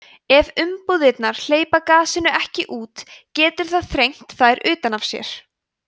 ef umbúðirnar hleypa gasinu ekki út getur það sprengt þær utan af sér